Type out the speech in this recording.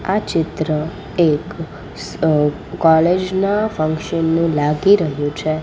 આ ચિત્ર એક અ કોલેજ ના ફંક્શન નુ લાગી રહ્યુ છે.